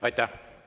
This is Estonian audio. Aitäh!